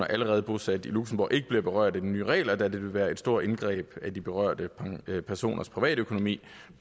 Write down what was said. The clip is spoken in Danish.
allerede bosatte i luxembourg ikke bliver berørt af de nye regler da det vil være et stort indgreb i de berørte personers privatøkonomi